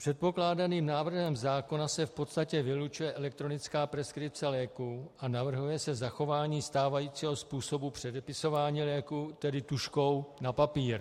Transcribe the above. Předkládaným návrhem zákona se v podstatě vylučuje elektronická preskripce léků a navrhuje se zachování stávajícího způsobu předepisování léků, tedy tužkou na papír.